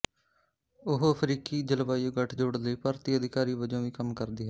ਉਹ ਅਫਰੀਕੀ ਜਲਵਾਯੂ ਗੱਠਜੋੜ ਲਈ ਭਰਤੀ ਅਧਿਕਾਰੀ ਵਜੋਂ ਵੀ ਕੰਮ ਕਰਦੀ ਹੈ